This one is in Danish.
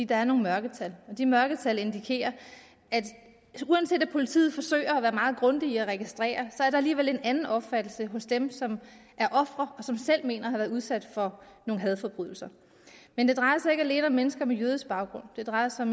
der er nogle mørketal og de mørketal indikerer uanset at politiet forsøger at være meget grundige at registrere at der alligevel er en anden opfattelse hos dem som er ofre og som selv mener at have været udsat for en hadforbrydelse men det drejer sig ikke alene om mennesker med jødisk baggrund det drejer sig